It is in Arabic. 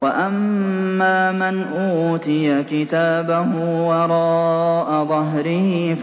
وَأَمَّا مَنْ أُوتِيَ كِتَابَهُ وَرَاءَ ظَهْرِهِ